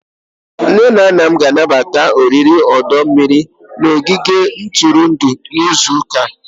Nne na nna m ga-anabata oriri ọdọ mmiri n',ogige ntụrụndụ n'izu ụka a.